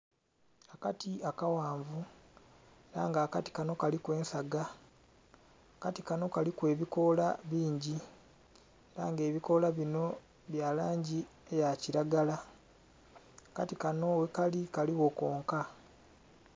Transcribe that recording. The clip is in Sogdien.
Akati akaghanvu era nga akati kanho kaliku ensaga, akati kanho kaliku ebikoola bingi era nga ebikola binho bya langi eya kilagala, akati kanho ghe kali kaligho konka.